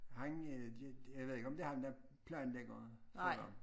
Han øh de de jeg ved ikke om det ham der planlægger for dem